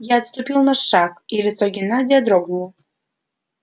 я отступил на шаг и лицо геннадия дрогнуло